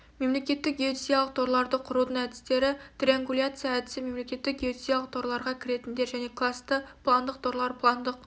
мемлекеттік геодезиялық торларды құрудың әдістері триангуляция әдісі мемлекеттік геодезиялық торларға кіретіндер және классты пландық торлар пландық